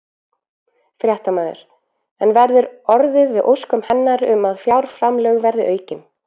Fréttamaður: En verður orðið við óskum hennar um að fjárframlög verið aukin?